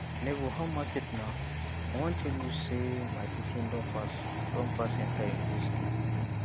nebor how market na i wan tell you sey my pikin don pass don pass enta university